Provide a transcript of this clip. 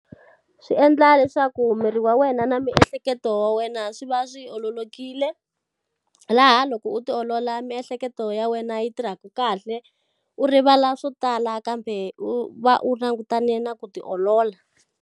Swi endla leswaku miri wa wena na miehleketo ya wena swi va swi ololokile. Laha loko u ti olola miehleketo ya wena yi tirhaka kahle, u rivala swo tala kambe u va u langutane na ku ti olola.